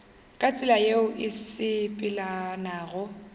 ka tsela yeo e sepelelanago